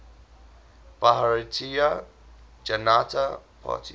bharatiya janata party